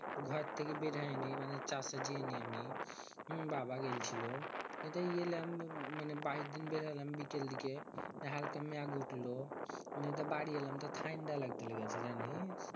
ঘর থেকে বের হয়নি মানে বাবা গেইলছিলো ঠাণ্ডা লাইগতে লেগেতে জানি